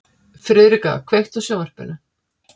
Friðrika, kveiktu á sjónvarpinu.